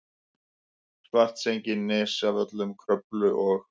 Svartsengi, Nesjavöllum, Kröflu og